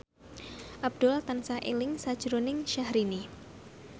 Abdul tansah eling sakjroning Syahrini